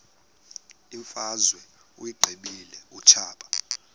imfazwe uyiqibile utshaba